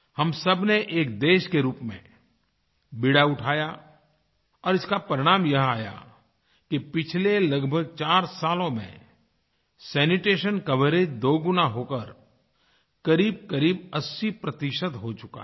हम सबने एक देश के रूप में बीड़ा उठाया और इसका परिणाम यह आया कि पिछले लगभग 4 सालों में सैनिटेशन कवरेज दोगुना होकर करीबकरीब 80प्रतिशत 80हो चुका है